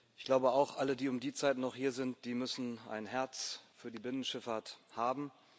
Ich glaube auch, alle, die um die Zeit noch hier sind, die müssen ein Herz für die Binnenschifffahrt haben.